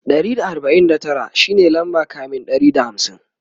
Ɗari da arbain da Tara shine lamba kamin Ɗari da hamsin